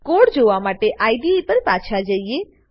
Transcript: code જોવા માટે IDE પર પાછા જઈએ